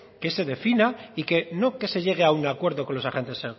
que se defina y que no que se llegue a un acuerdo con los agentes